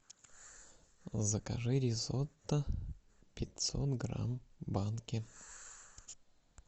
закажи ризотто пятьсот грамм в банке